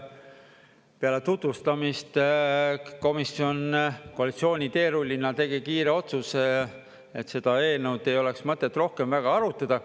Kahjuks peale tutvustamist komisjon koalitsiooniteerullina tegi kiire otsuse, et seda eelnõu ei oleks mõtet rohkem väga arutada.